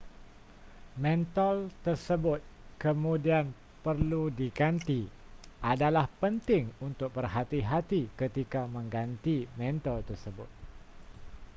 mentol tersebut kemudian perlu diganti adalah penting untuk berhati-hati ketika mengganti mentol tersebut